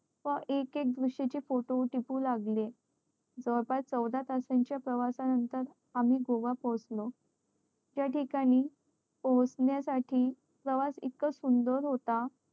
एक एक दृष्टी चे photo टिपू लागले जवळ पास चौदा तासाच्या प्रवासा नंतर आम्ही गोवा पोहचलो त्या ठिकाणी पोहचण्या साठी प्रवास इतका सुंदर होता